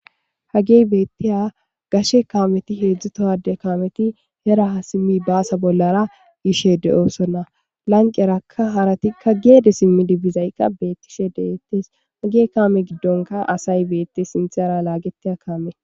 Hagey beetteya gashe kaameti heedzdzutohade kaameti hera simmi baasa bollara gishe de7osonna lanqerakka haratikka geede simmi dibizaykka beettishe dehettes hagey kaame giddonka asay beette sinthera laageteya kaame.